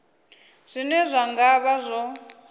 zwine zwa nga vha zwo